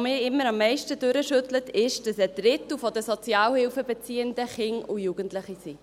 mich immer am meisten durchschüttelt, ist, dass ein Drittel der Sozialhilfebeziehenden Kinder und Jugendliche sind.